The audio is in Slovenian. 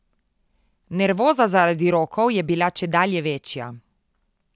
Nervoza zaradi rokov je bila čedalje večja.